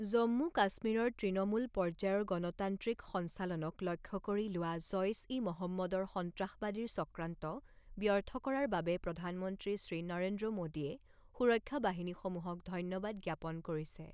জম্মু কাশ্মীৰৰ তৃণমূল পৰ্যায়ৰ গণতান্ত্ৰিক সঞ্চালনক লক্ষ্য কৰি লোৱা জঈচ ই মহম্মদৰ সন্ত্ৰাসবাদীৰ চক্ৰান্ত ব্যৰ্থ কৰাৰ বাবে প্ৰধানমন্ত্ৰী শ্ৰী নৰেন্দ্ৰ মোদীয়ে সুৰক্ষা বাহিনীসমূহক ধন্যবাদ জ্ঞাপন কৰিছে।